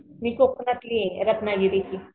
मी कोकणातली आहे रत्नागिरीची.